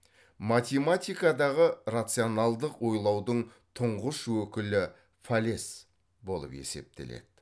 математикадағы рационалдық ойлаудың тұңғыш өкілі фалес болып есептеледі